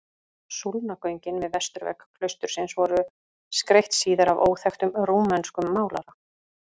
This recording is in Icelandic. Súlnagöngin við vesturvegg klaustursins voru skreytt síðar af óþekktum rúmenskum málara.